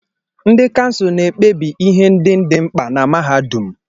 Ndị kansụl na-ekpebi ihe ndị dị mkpa na mahadum.